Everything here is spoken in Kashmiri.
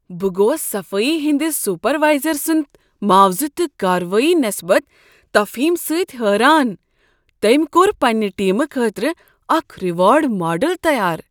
بہٕ گوس صفائی ہندس سپروائزر سند معاوضہٕ تہٕ کاروٲیی نسبت تفہیم سۭتۍ حیران۔ تٔمۍ کوٚر پننہ ٹیمہ خٲطرٕ اکھ ریوارڈ ماڈل تیار۔